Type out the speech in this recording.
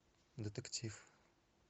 детектив